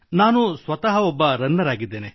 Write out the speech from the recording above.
ನಾನು ಸ್ವತಃ ಒಬ್ಬ ರನ್ನರ್ ಆಗಿದ್ದೇನೆ